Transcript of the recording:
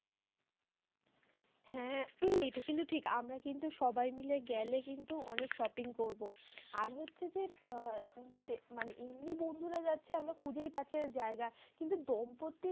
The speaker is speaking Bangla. হ্যাঁ এটা কিন্তু ঠিক। আমরা কিন্তু সবাই মিলে গেলে কিন্তু অনেক shopping করবো। আর হচ্ছে যে, আ মানে এমনি বন্ধুরা যাচ্ছি আমরা খুঁজেই পাচ্ছি না জায়গা। কিন্তু দম্পত্তির